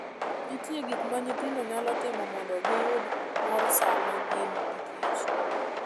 Nitie gik ma nyithindo nyalo timo mondo giyud mor sama gin gikich.